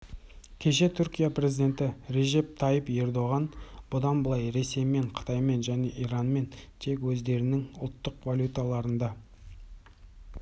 кеше түркия президенті режеп тайып ердоған бұдан былай ресеймен қытаймен және иранмен тек өздерінің ұлттық валюталарнда